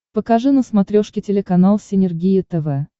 покажи на смотрешке телеканал синергия тв